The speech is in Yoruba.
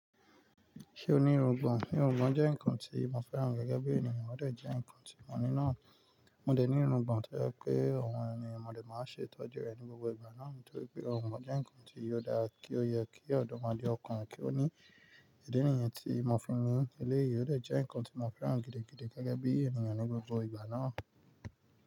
Ṣé o ní irungbọ̀n? Irungbọ̀n jẹ́ ǹkan tí mo fẹ́ràn gege bí ènìyàn, ọ́ dẹ̀ jẹ́ ǹkan tí mo ní náà. Mo dẹ̀ ní irungbọ̀n toje pé oun ni mo dẹ̀ máa ń ṣe ìtọ́jú rẹ̀ ní gbogbo ìgbà náà nítorí pé irungbon jẹ́ ǹkan tí ò dára kí ó yẹ kí ọ̀dọ́ modenọkùnrin kí ó ní idi níyẹn tí mo fi ń eleyi Ó dẹ̀ jẹ́ ǹkan tí mo fẹ́ràn gidigidi gágá bí ènìyàn ní gbogbo ìgbà náà.